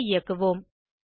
கோடு ஐ இயக்குவோம்